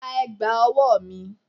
Gba ẹ̀gbà ọwọ́ mi!